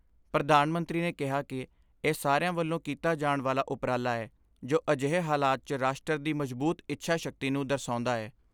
ਪ੍ਰਧਾਨ ਮੰਤਰੀ ਨੇ ਕਿਹਾ ਕਿ ਇਹ ਸਾਰਿਆਂ ਵੱਲੋਂ ਕੀਤਾ ਜਾਣ ਵਾਲਾ ਉਪਰਾਲਾ ਐ, ਜੋ ਅਜਿਹੇ ਹਾਲਾਤ 'ਚ ਰਾਸ਼ਟਰ ਦੀ ਮਜ਼ਬੂਤ ਇੱਛਾ ਸ਼ਕਤੀ ਨੂੰ ਦਰਸਾਉਂਦਾ ਐ।